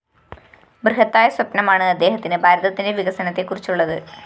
ബൃഹത്തായ സ്വപ്‌നമാണ് അദ്ദേഹത്തിന് ഭാരതത്തിന്റെ വികസനത്തെക്കുറിച്ചുള്ളത്